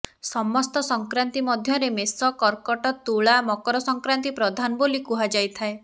ସମସ୍ତ ସଂକ୍ରାନ୍ତି ମଧ୍ୟରେ ମେଷ କର୍କଟ ତୁଳା ମକର ସଂକ୍ରାନ୍ତି ପ୍ରଧାନ ବୋଲି କୁହାଯାଇଥାଏ